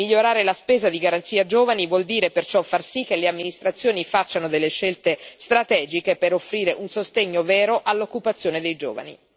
Migliorare la spesa di Garanzia per i giovani vuol dire perciò far sì che le amministrazioni facciano scelte strategiche per offrire un sostegno vero all'occupazione dei giovani.